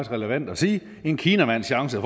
relevant at sige en kinamands chance